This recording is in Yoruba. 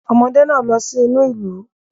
Ọmọdé náà lọ sí inú ìlú